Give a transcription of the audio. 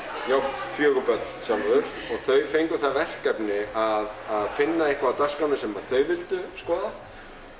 ég á fjögur börn sjálfur og þau fengu það verkefni að finna eitthvað á dagskránni sem þau vildu skoða